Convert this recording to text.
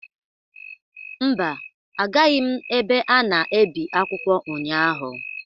Mba, agaghị m ebe a na-ebi akwụkwọ ụnyahụ.